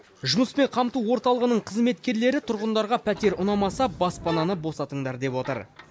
жұмыспен қамту орталығының қызметкерлері тұрғындарға пәтер ұнамаса баспананы босатыңдар деп отыр